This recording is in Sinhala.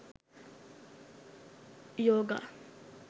yoga